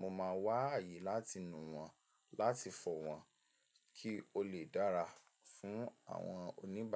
mo máa wá ààyè láti nu wọ́n, láti fọ̀ wọ́n kí ó lè dára fún àwọn oníbàárà.